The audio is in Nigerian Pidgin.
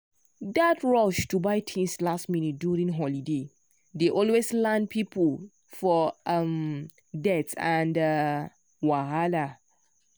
that rush to buy things last minute during holiday dey always land people for um debt and um wahala.